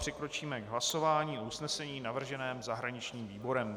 Přikročíme k hlasování o usnesení navrženém zahraničním výborem.